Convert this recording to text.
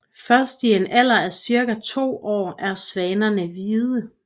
Først i en alder af cirka to år er svanerne hvide